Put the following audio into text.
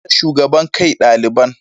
An dakatar da shugaban kai daliban.